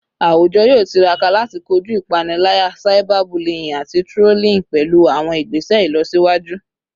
Awujọ yoo tiraka lati koju ipanilaya, cyberbullying, ati trolling pẹlu awọn igbese ilọsiwaju